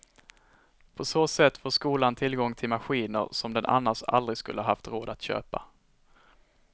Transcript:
På så sätt får skolan tillgång till maskiner som den annars aldrig skulle haft råd att köpa.